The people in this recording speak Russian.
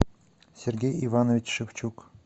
сергей иванович шевчук